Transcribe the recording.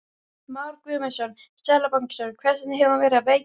Már Guðmundsson, seðlabankastjóri: Hvers vegna hefur hún verið að veikjast?